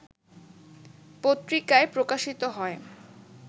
পত্রিকায় প্রকাশিত হয়